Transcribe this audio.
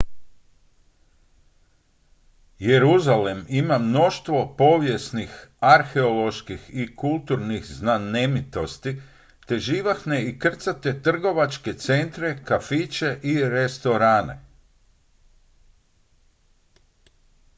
jeruzalem ima mnoštvo povijesnih arheoloških i kulturnih znamenitosti te živahne i krcate trgovačke centre kafiće i restorane